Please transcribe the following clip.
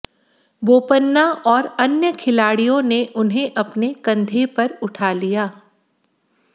बोपन्ना और अन्य खिलाडिय़ों ने उन्हें अपने कंधे पर उठा लिया